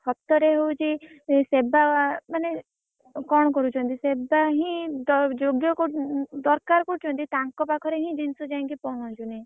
ସତରେ ହଉଛି ସେବା ମାନେ କଣକରୁଛନ୍ତି ସେବା ହିଁ ଯ ଯୋଗ୍ୟ କରୁ ଦରକାର କରୁଛନ୍ତି ତାଙ୍କ ପାଖରେ ହିଁ ଜିନିଷ ଯାଇକି ପହଁଞ୍ଚୁନି।